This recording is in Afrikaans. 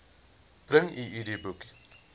bring u idboek